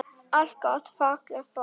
Allt gott og fallegt fólk.